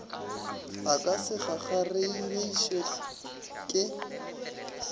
a ka se kgakgaregišwe ke